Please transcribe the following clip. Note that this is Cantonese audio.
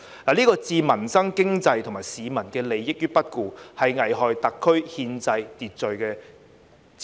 這是置民生、經濟及市民利益於不顧，是危害特區憲制秩序之舉。